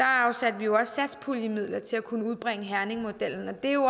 afsatte vi også satspuljemidler til at kunne udbrede herningmodellen og det er jo